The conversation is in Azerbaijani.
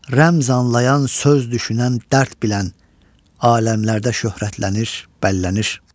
Rəmz anlayan, söz düşünən dərd bilən aləmlərdə şöhrətlənir, bəllənir.